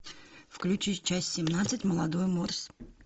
включи часть семнадцать молодой морс